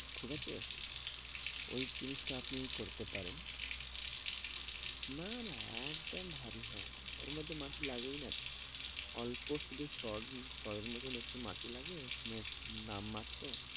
ঠিক আছে ওই জিনিস টা আপনি করতে পারেন না না একদম ভারী হয় না ওর মধ্যে মাটি লাগেই না তো অল্প শুদু সর, সর এর মতো মাটি লাগে আপনার নাম মাত্র,